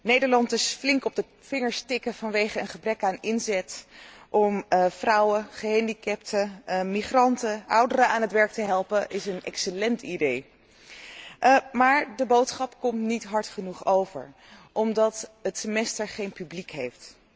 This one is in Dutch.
Nederland eens flink op de vingers tikken vanwege een gebrek aan inzet om vrouwen, gehandicapten, migranten, ouderen aan het werk te helpen, is een excellent idee, maar de boodschap komt niet hard genoeg over, omdat het Semester geen publiek heeft.